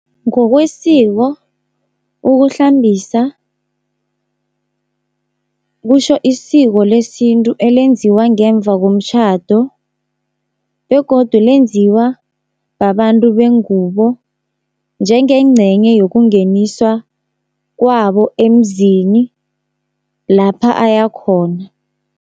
Ngokwesiko, ukuhlambisa kutjho isiko lesintu elenziwa ngemva komtjhado begodu lenziwa babantu bengubo njengencenye yokungeniswa kwabo emzini lapha ayakhona.